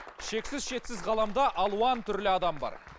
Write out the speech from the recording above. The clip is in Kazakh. шексіз шетсіз ғаламда алуан түрлі адам бар